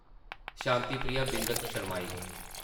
शांति प्रिया बिंद शरमाई गेई ।